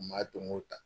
U ma donko ta